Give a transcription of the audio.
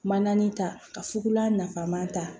Mananin ta ka fugulan nafama ta